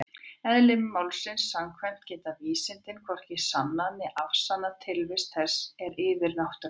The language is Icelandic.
Eðli málsins samkvæmt geta vísindin hvorki sannað né afsannað tilvist þess sem er yfirnáttúrulegt.